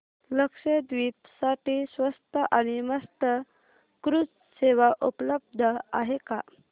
लक्षद्वीप साठी स्वस्त आणि मस्त क्रुझ सेवा उपलब्ध आहे का